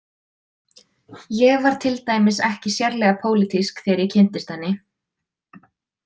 Ég var til dæmis ekki sérlega pólitísk þegar ég kynntist henni.